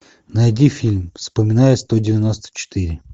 найди фильм вспоминая сто девяносто четыре